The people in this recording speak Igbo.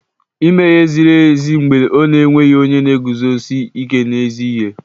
Ime ihe ziri ezi mgbe ọ na-enweghị onye na-eguzosi ike n'ezi ihe